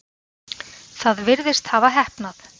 Það virðist hafa heppnað.